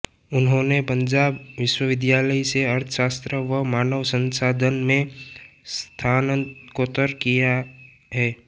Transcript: उन्होंने पंजाब विश्वविद्यालय से अर्थशास्त्र व मानव संसाधन में स्नातकोत्तर किया है